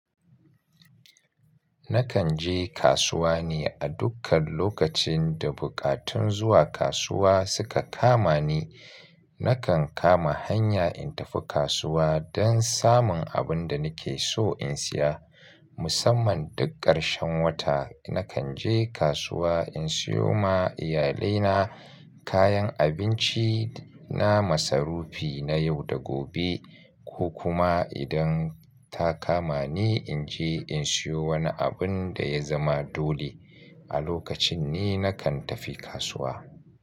Nakan je kasuwa ne a dukkan lokacin da buƙatun zuwa kasuwa suka kama ni. Nakan kama hanya in tafi kasuwa don samun abin da nake so in siya. Musamman duk ƙarshen wata nakan je kasuwa in siyo ma iyalaina kayan abinci na masarufi na yau da gobe ko kuma idan ta kama ni in je in siyo wani abin da ya zama dole. A lokacin ne nakan tafi kasuwa.